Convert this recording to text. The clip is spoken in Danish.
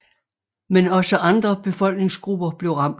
Men også andre befolkningsgrupper blev ramt